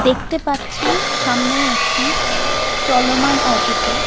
দেখতে পাচ্ছি সামনে একটি চলমান অটো -কে।